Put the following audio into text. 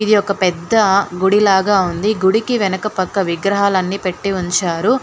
ఇది ఒక పెద్ద గుడి లాగా ఉంది గుడికి వెనక పక్క విగ్రహాలన్నీ పెట్టి ఉంచారు.